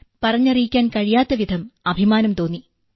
പറഞ്ഞറിയിക്കാൻ കഴിയാത്തവിധം അഭിമാനം തോന്നി